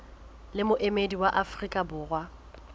le moemedi wa afrika borwa